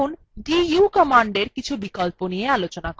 এখন du command কিছু বিকল্প নিয়ে আলোচনা করা যাক